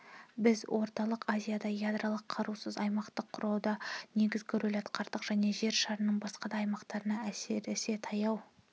біз орталық азияда ядролық қарусыз аймақ құруда негізгі рөл атқардық және жер шарының басқа да аймақтарында әсіресе таяу